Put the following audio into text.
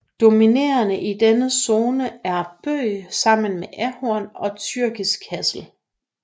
Dominerende i denne zone er bøg sammen med ahorn og tyrkisk hassel